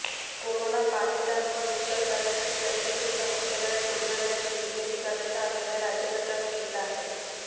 कोरोनाबाधितांवर उपचार करण्यासाठी प्रत्येक जिल्हा मुख्यालयात रुग्णालयाची निर्मिती करण्याचा निर्णय राज्य सरकारने घेतला आहे